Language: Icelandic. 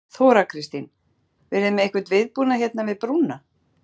Þóra Kristín: Verðið þið með einhvern viðbúnað hérna við brúna?